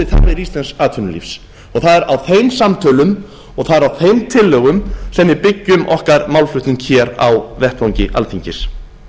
þarfir íslensks atvinnulífs það er á þeim samtölum og það er á þeim tillögum sem vi byggjum okkar málflutning hér á vettvangi alþingis